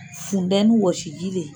Fundɛni wɔsiji le